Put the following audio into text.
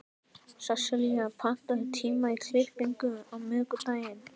Sesselía, pantaðu tíma í klippingu á miðvikudaginn.